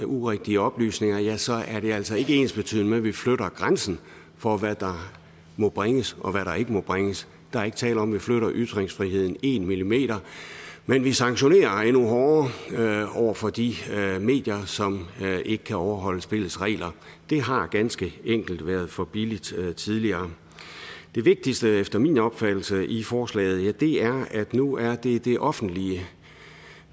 urigtige oplysninger ja så er det altså ikke ensbetydende med at vi flytter grænsen for hvad der må bringes og hvad der ikke må bringes der er ikke tale om at vi flytter ytringsfriheden en millimeter men vi sanktionerer endnu hårdere over for de medier som ikke kan overholde spillets regler det har ganske enkelt været for billigt tidligere det vigtigste efter min opfattelse i forslaget er at nu er det det offentlige